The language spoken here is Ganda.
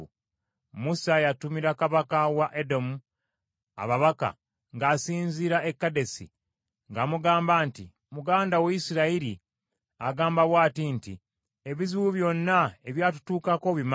Musa yatumira Kabaka wa Edomu ababaka ng’asinziira e Kadesi ng’amugamba nti, “Muganda wo Isirayiri agamba bw’ati nti: Ebizibu byonna ebyatutuukako obimanyi.